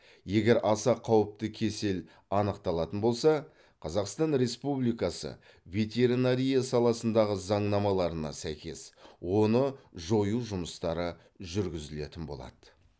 егер аса қауіпті кесел анықталатын болса қазақстан республикасының ветеринария саласындағы заңнамаларына сәйкес оны жою жұмыстары жүргізілетін болады